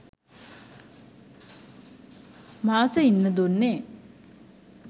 මාස ඉන්න දුන්නෙ